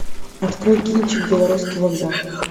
открой кинчик белорусский вокзал